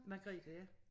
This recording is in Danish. Magrethe ja